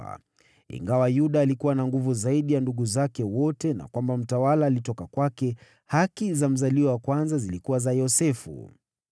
Na ingawa Yuda alikuwa na nguvu zaidi ya ndugu zake wote, na mtawala alitoka kwake, haki za mzaliwa wa kwanza zilikuwa za Yosefu.)